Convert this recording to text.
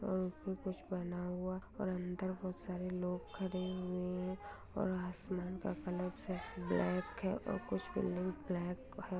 और ऊपर कुछ बना हुआ और अंदर बहोत सारे लोग खड़े हुए हैं और आसमान का कलर शायद ब्लैक है और कुछ ब्लू ब्लैक है।